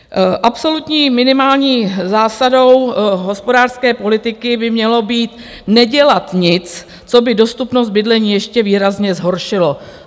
Absolutní minimální zásadou hospodářské politiky by mělo být nedělat nic, co by dostupnost bydlení ještě výrazně zhoršilo.